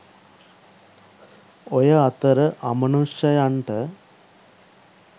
ඔය අතර අමනුෂ්‍යයන්ට